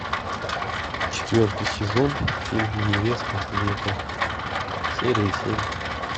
четвертый сезон фильм невеста века серия семь